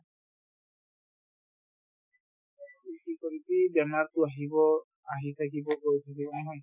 কি কি কৰি বেমাৰতো আহিব আহি থাকিব গৈ থাকিব নহয়